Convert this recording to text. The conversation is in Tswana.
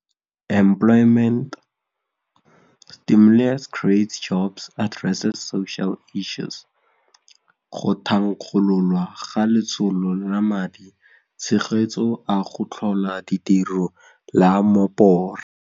Go thankgololwa ga Letsholo la Madi tshegetso a go Tlhola Ditiro la Mopore.